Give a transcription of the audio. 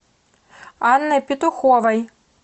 анной петуховой